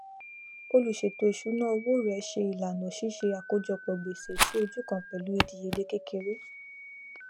oluṣètò ìṣúná owó rẹ ṣe ìlànà ṣiṣẹ àkójọpọ gbèsè sí ojú kan pẹlú ìdíyelé kékeré